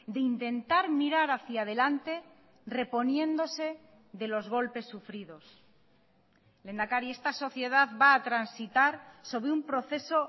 de intentar mirar hacia adelante reponiéndose de los golpes sufridos lehendakari esta sociedad va a transitar sobre un proceso